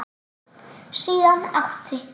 Síðan átti